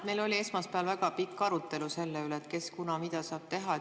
Meil oli esmaspäeval väga pikk arutelu selle üle, kes kunas mida saab teha.